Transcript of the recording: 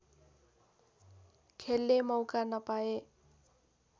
खेल्ने मौका नपाए